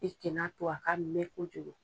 I kɛnɛ to a ka mɛn kojugu.